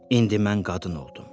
İndi mən qadın oldum.